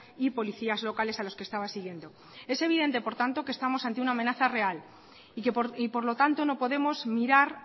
y policías locales a los que estaba siguiendo es evidente por tanto que estamos ante una amenaza real y por lo tanto no podemos mirar